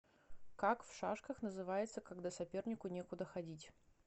как в шашках называется когда сопернику некуда ходить